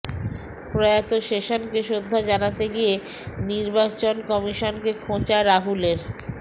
প্রয়াত শেষনকে শ্রদ্ধা জানাতে গিয়ে নির্বাচন কমিশনকে খোঁচা রাহুলের